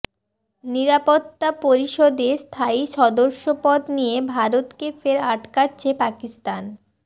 নিরাপত্তা পরিষদে স্থায়ী সদস্যপদ নিয়ে ভারতকে ফের আটকাচ্ছে পাকিস্তান